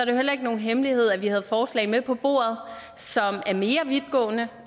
jo heller ikke nogen hemmelighed at vi havde forslag med på bordet som er mere vidtgående